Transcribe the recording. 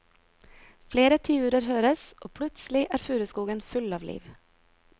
Flere tiurer høres og plutselig er furuskogen full av liv.